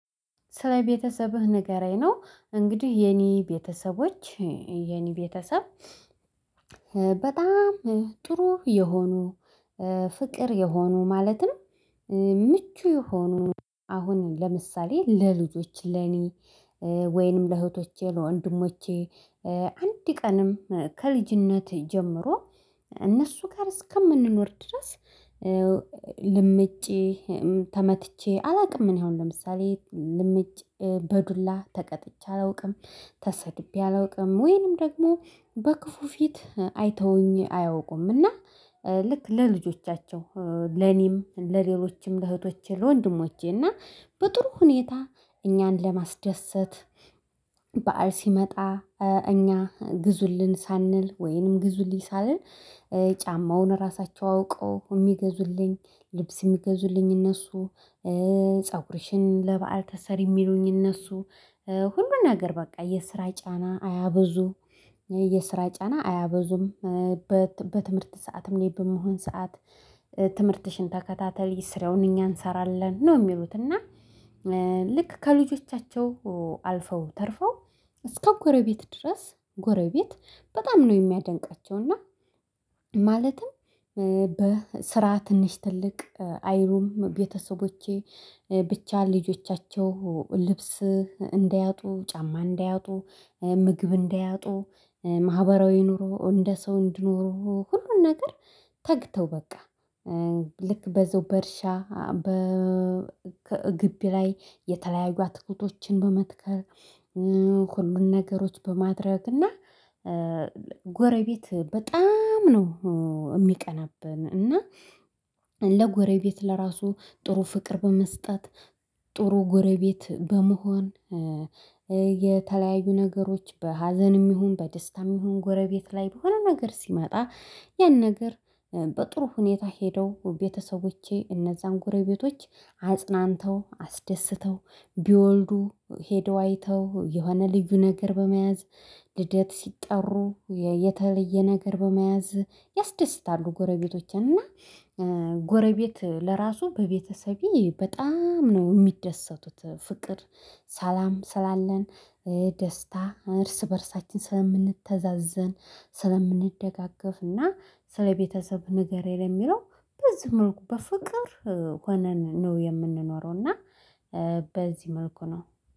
ስለ ቤተሰብህ ንገረኝ ነው፣ እንግዲህ የኔ ቤተሰቦች፣ የኔ ቤተሰብ በጣም ጥሩ የሆኑ፣ ፍቅር የሆኑ፣ ማለትም ምቹ የሆኑ አሁን ለምሳሌ ለልጆቼ፣ ለኔ ወይንም ለእህቶቼ፣ ለወንድሞቼ አንድ ቀንም ከልጅነት ጀምሮ እነሱ ጋር እስከምንኖር ድረስ ልምጬ ተመትቼ አላውቅም። እኔ አሁን ለምሳሌ ልምጭ፣ በዱላ ተቀጥቼ አላውቅም፣ ተሰድቤ አላውቅም፣ ወይንም ደግሞ በክፉ ፊት አይተውኝ አያውቁምና ልክ ለልጆቻቸው፣ ለኔም፣ ለሌሎችም ለእህቶቼ፣ ወንድሞቼ እና በጥሩ ሁኔታ እኛን ለማስደሰት በዓል ሲመጣ እኛ ግዙልን ሳንል ወይንም ግዙልኝ ሳልል ጫማውን ራሳቸው አውቀው የሚገዙልኝ፣ ልብስ የሚገዙልኝ እነሱ፣ ፀጉሬሽን ለበአል ተሰር የሚሉኝ እነሱ፣ ሁሉን ነገር በቃ። የስራ ጫና አያበዙ፣ የስራ ጫና አያበዙም፣ በትምህርት ሰዓትም እኔ በምሆን ሰዓት ትምህርትሽን ተከታተይ ስረውን እኛ እንሰራለን ነው የሚሉት። እና ልክ ከልጆቻቸው አልፈው ተርፈው እስከ ጎረቤት ድረስ፣ ጎረቤት በጣም ነው የሚያደንቃቸው። እና ማለትም በስራ ትንሽ ትልቅ አይሉም ቤተሰቦቼ። ብቻ ልጆቻቸው ልብስ እንዳያጡ፣ ጫማ እንዳያጡ፣ ምግብ እንዳያጡ፣ ማህበራዊ ኑሮ እንደ ሰው እንድኖር ሁሉን ነገር ተግተው በቃ ልክ በዛው በእርሻ በ ግቢ ላይ የተለያዩ አትኩቶችን በመትከል ሁሉን ነገሮች በማድረግ እና ጎረቤት በጣም ነው የሚቀናብን። እና ለጎረቤት ለራሱ ጥሩ ፍቅር በመስጠት፣ ጥሩ ጎረቤት በመሆን፣ የተለያዩ ነገሮች በሀዘንም ይሁን፣ በደስታም ይሁን ጎረቤት ላይ በሆነ ነገር ሲመጣ ያን ነገር በጥሩ ሁኔታ ሄደው ቤተሰቦቼ እነዛን ጎረቤቶች አጽናንተው፣ አስደስተው ቢወልዱ ሄደው አይተው፣ የሆነ ልዩ ነገር በመያዝ፣ ልደት ሲጠሩ የተለየ ነገር በመያዝ ያስደስታሉ ጎረቤቶችን። እና ጎረቤት ለራሱ በቤተሰቤ በጣም ነው የሚደሰቱት። ፍቅር፣ ሰላም ስላለን፣ ደስታ እርስ በእርሳችን ስለምንተዛዘን፣ ስለምንደጋገፍ እና ስለቤተሰብ ንገረኝ የሚለው በዚህ መልኩ በፍቅር ሆነን ነው የምንኖረው። እና በዚህ መልኩ ነው።